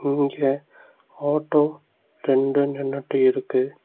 இங்க ஆட்டோ ரெண்டு நின்னுட்டு இருக்கு.